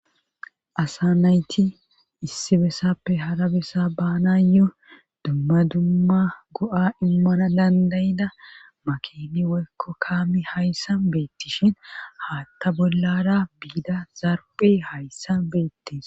Asa nayti issi bessappe hara bessa baanayo dumma dumma go'a immana dandayida makeni weykko kaami hayssa beettishin haatta bollara biida zarpe hayssan beettis.